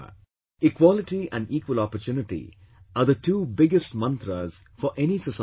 Equality and equal opportunity are the two biggest 'mantras' for any society and government